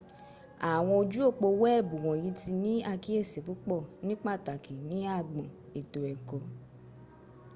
àwọn ojú òpó weebu wònyí ti ní àkíyèsí púpọ̀ ní pàtàkì ní agbọn ètò èkó